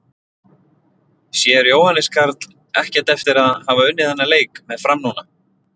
Sér Jóhannes Karl ekkert eftir að hafa unnið þann leik með Fram núna?